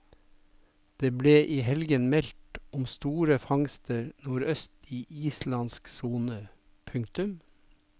Det ble i helgen meldt om store fangster nordøst i islandsk sone. punktum